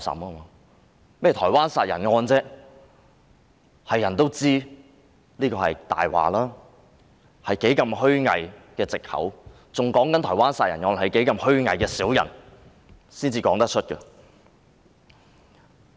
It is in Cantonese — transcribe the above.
他們提到的台灣殺人案，所有人也知道那只是謊話和無比虛偽的藉口，只有虛偽的小人才說得出口。